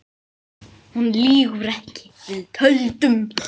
Hún lýgur ekki, við töldum